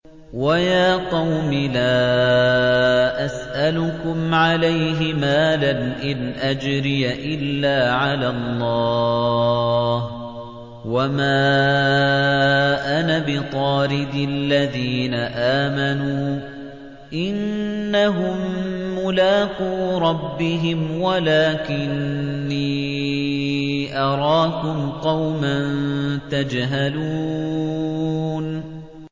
وَيَا قَوْمِ لَا أَسْأَلُكُمْ عَلَيْهِ مَالًا ۖ إِنْ أَجْرِيَ إِلَّا عَلَى اللَّهِ ۚ وَمَا أَنَا بِطَارِدِ الَّذِينَ آمَنُوا ۚ إِنَّهُم مُّلَاقُو رَبِّهِمْ وَلَٰكِنِّي أَرَاكُمْ قَوْمًا تَجْهَلُونَ